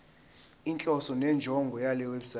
inhloso nenjongo yalewebsite